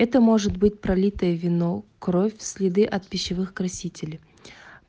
это может быть пролитое вино кровь следы от пищевых красителей